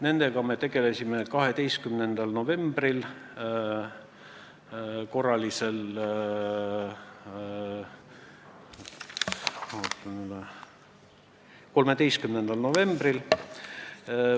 Nendega me tegelesime 13. novembril korralisel istungil.